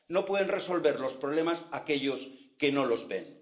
no pueden resolver los problemas aquellos que no los ven.